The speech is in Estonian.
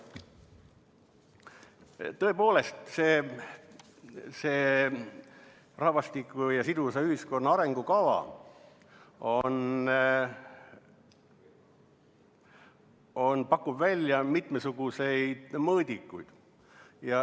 Tõepoolest, see rahvastiku ja sidusa ühiskonna arengukava pakub välja mitmesuguseid mõõdikuid.